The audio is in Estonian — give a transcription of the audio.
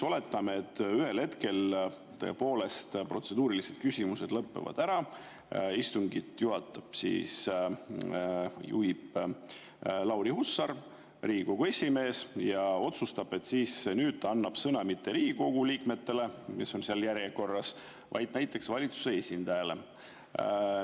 Oletame, et ühel hetkel tõepoolest protseduurilised küsimused lõppevad ära, istungit juhatab Lauri Hussar, Riigikogu esimees, ja ta otsustab siis, et nüüd ta annab sõna mitte Riigikogu liikmetele, kes on seal järjekorras, vaid näiteks valitsuse esindajale.